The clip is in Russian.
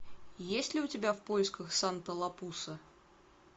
есть ли у тебя в поисках санта лапуса